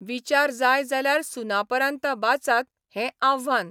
विचार जाय जाल्यार सुनापरान्त बाचात हे आव्हान.